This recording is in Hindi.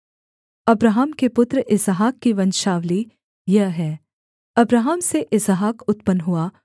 अब्राहम के पुत्र इसहाक की वंशावली यह है अब्राहम से इसहाक उत्पन्न हुआ